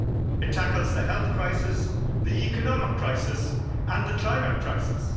It tackles the health crisis, the economic crisis and the climate crisis.